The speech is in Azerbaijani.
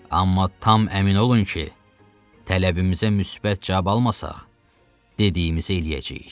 Amma tam əmin olun ki, tələbimizə müsbət cavab almasaq, dediyimiz eləyəcəyik.